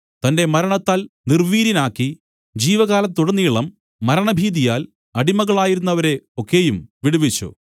തന്റെ മരണത്താൽ നിർവീര്യനാക്കി ജീവകാലത്തുടനീളം മരണഭീതിയാൽ അടിമകളായിരുന്നവരെ ഒക്കെയും വിടുവിച്ചു